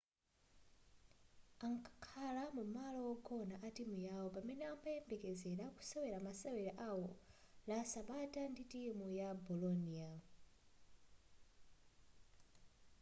ankakhala mumalo wogona a timu yawo pamene amayembekezera kusewera masewero awo la sabata ndi timu ya bolonia